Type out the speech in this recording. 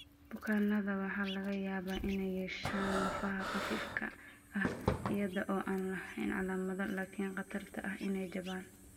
Bukaannada waxaa laga yaabaa inay yeeshaan lafaha khafiifka ah iyada oo aan lahayn calaamado, laakiin khatarta ah inay jabaan.